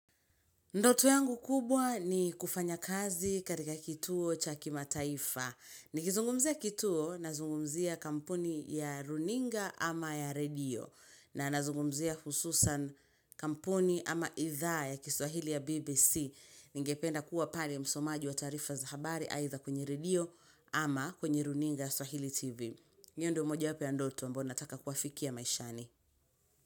Ndoto yangu kubwa ni kufanya kazi katika kituo cha kimataifa. Nikizungumzia kituo nazungumzia kampuni ya runinga ama ya redio. Na nazungumzia hususan kampuni ama idhaa ya kiswahili ya BBC. Ningependa kuwa pale msomaji wa taarifa za habari aitha kwenye redio ama kwenye runinga ya swahili TV. Io ndio mojawapo ya ndoto ambao nataka kuafikia maishani.